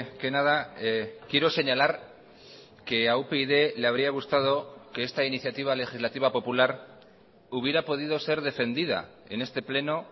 que nada quiero señalar que a upyd le habría gustado que esta iniciativa legislativa popular hubiera podido ser defendida en este pleno